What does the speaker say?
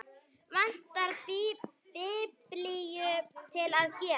Vantaði biblíu til að gefa.